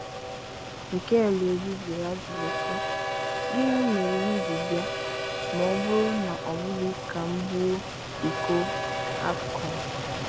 Mikel Obi jụrụ ajụjụ sị "gịnị mere m ji bịa ma ọ bụrụ na ọbụghị ka m buo iko AFCON?"